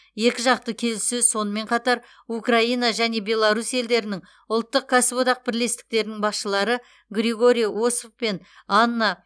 екіжақты келіссөз сонымен қатар украина және беларусь елдерінің ұлттық кәсіподақ бірлестіктерінің басшылары григорий осов пен анна